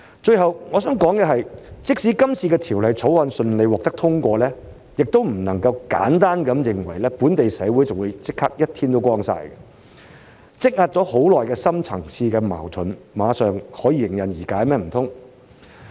最後，我想說的是，即使今次的《條例草案》順利獲得通過，也不能簡單地認為本地社會立即"一天光晒"，難道積壓已久的深層次矛盾馬上可以迎刃而解嗎？